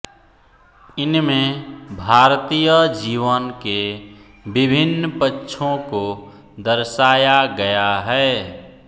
इनमें भारतीय जीवन के विभिन्न पक्षों को दर्शाया गया है